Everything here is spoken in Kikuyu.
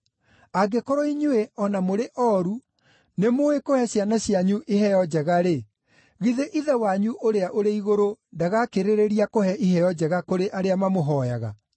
Angĩkorwo inyuĩ, o na mũrĩ ooru, nĩmũũĩ kũhe ciana cianyu iheo njega-rĩ, githĩ Ithe wanyu ũrĩa ũrĩ igũrũ ndagakĩrĩrĩria kũhe iheo njega kũrĩ arĩa mamũhooyaga!